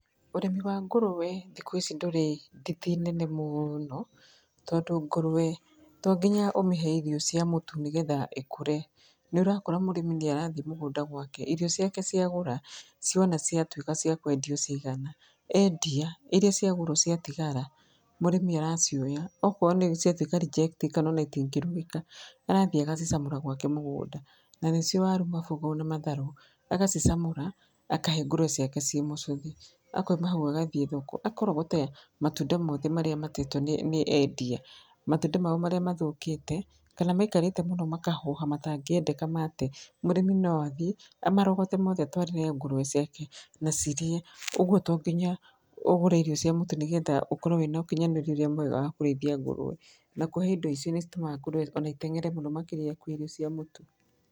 Ũrĩmi wa ngũrũwe thikũ ici ndũrĩ nditi nene mũno, tondũ ngũrũwe tonginya ũmĩhe irio cia mũtu nĩgetha ĩkũre. Nĩũrakora mũrĩmi nĩ arathiĩ mũgũnda gwake irio ciake cia gũra ciona ciatuĩka cia kwendio ciagana, endia iria ciagũrwo ciatigara, mũrĩmi aracioya okoo ciatuĩka reject kana ona itingĩrugĩka, arathiĩ agacicamũra gwake mũgũnda na nĩcio waru, mabũga ona matharũ, agacicamũra akahe ngũrũwe ciake ciĩ mũcũthi. Akauma hau agathiĩ thoko akarogota matunda mothe marĩa matetwo nĩ, nĩ endia, matunda mao marĩa mathũkĩte kana maikarĩte mũno makahoha matangĩendeka mate, mũrĩmi no athiĩ amarogote mothe atwarĩre ngũrũwe ciake na cirĩe. Ũgwo to nginya ũgũre irio cia mũtu nĩgetha ũkorwo wĩna ũkinyanĩrĩa ũrĩa mwega wa kũrĩithia ngũrũwe. Na kũhe indo ici nĩ itũmaga ngũrũwe ona iteng'ere mũno makĩria kwĩ irio cia mũtu.